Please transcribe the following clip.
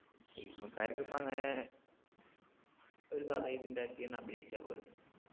cinema ക്കാരിക്കിപ്പോ അങ്ങനെ ഒരു കഥയിതുണ്ടാക്കി ഒന്നഭിനയിച്ചാ പോരെ